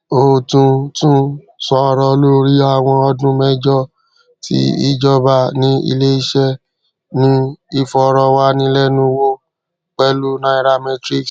o tun tun sọrọ lori awọn ọdun mẹjọ ti ijọba ni ileiṣẹ ni ifọrọwanilẹnuwo pẹlu nairametrics